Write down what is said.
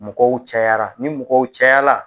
Mɔgɔw cayara ni mɔgɔw cayala